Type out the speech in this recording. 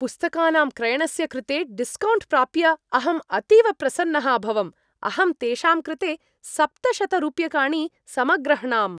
पुस्तकानां क्रयणस्य कृते डिस्कौण्ट् प्राप्य अहं अतीव प्रसन्नः अभवम्, अहं तेषां कृते सप्तशतरूप्यकाणि समग्रह्णाम्।